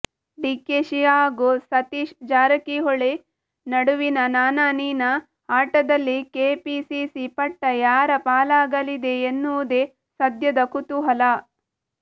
ಡಿಕೆಶಿ ಹಾಗೂ ಸತೀಶ್ ಜಾರಕಿಹೊಳಿ ನಡುವಿನ ನಾನಾ ನೀನಾ ಆಟದಲ್ಲಿ ಕೆಪಿಸಿಸಿ ಪಟ್ಟ ಯಾರ ಪಾಲಾಗಲಿದೆ ಎನ್ನುವುದೇ ಸದ್ಯದ ಕುತೂಹಲ